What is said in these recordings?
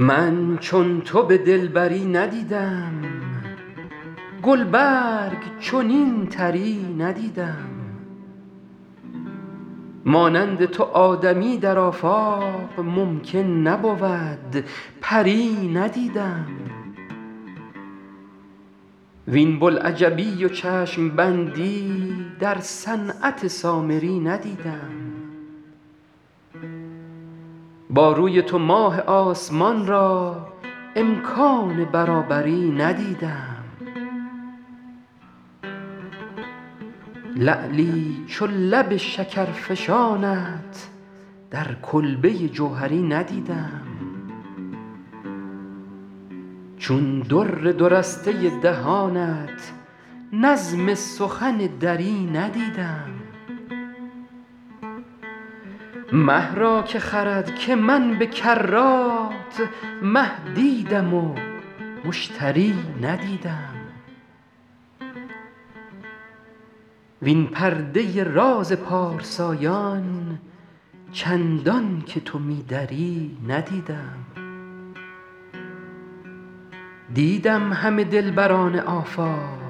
من چون تو به دلبری ندیدم گل برگ چنین طری ندیدم مانند تو آدمی در آفاق ممکن نبود پری ندیدم وین بوالعجبی و چشم بندی در صنعت سامری ندیدم با روی تو ماه آسمان را امکان برابری ندیدم لعلی چو لب شکرفشانت در کلبه جوهری ندیدم چون در دو رسته دهانت نظم سخن دری ندیدم مه را که خرد که من به کرات مه دیدم و مشتری ندیدم وین پرده راز پارسایان چندان که تو می دری ندیدم دیدم همه دلبران آفاق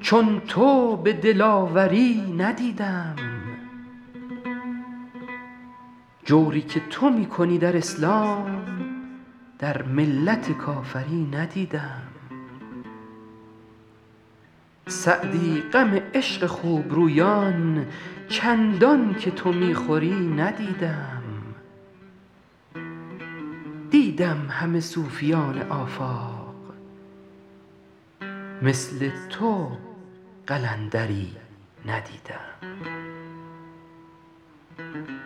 چون تو به دلاوری ندیدم جوری که تو می کنی در اسلام در ملت کافری ندیدم سعدی غم عشق خوب رویان چندان که تو می خوری ندیدم دیدم همه صوفیان آفاق مثل تو قلندری ندیدم